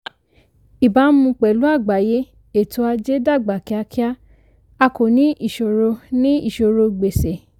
ìbámu pẹ̀lú àgbáyé ètò ajé dàgbà kíákíá a kò ní ìṣòro ní ìṣòro gbèsè.